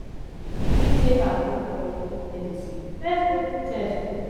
bifor yu begin take agbo or oyibo medicine first go do test o